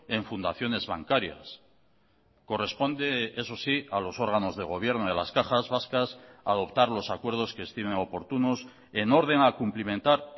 en fundaciones bancarias corresponde eso sí a los órganos de gobierno de las cajas vascas adoptar los acuerdos que estimen oportunos en orden a cumplimentar